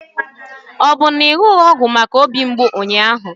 Ọ bụ na ịnụghị ọgwụ maka obi mgbụ ụnyaahụ?